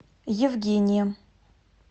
евгением